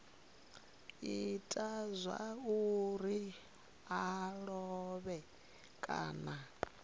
ita zwauri a lovhe kana